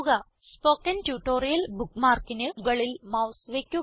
spoken tutorial bookmarkന് മുകളിൽ mouse വയ്ക്കുക